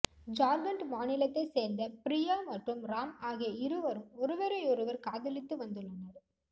ஜார்கண்ட் மாநிலத்தை சேர்ந்த பிரியா மற்றும் ராம் ஆகிய இருவரும் ஒருவரையொருவர் காதலித்து வந்துள்ளனர்